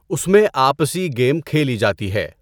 اُس میں آپسی گیم کھیلی جاتی ہے۔